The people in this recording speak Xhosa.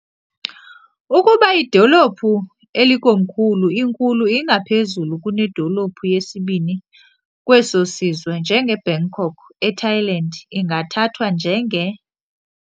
Ukuba idolophu elikomkhulu inkulu ingaphezulu kunedolophu yesibini kweso sizwe, njengeBangkok eThailand, ingathathwa njenge